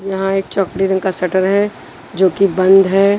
यहां एक चौकली रंग का शटर है जो कि बंद है।